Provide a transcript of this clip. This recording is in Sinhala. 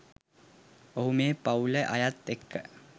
ඔහු මේ පව්ලේ අයත් එක්ක